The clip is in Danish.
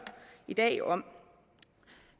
i dag jo om